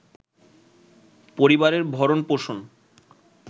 পরিবারের ভরণ-পোষণ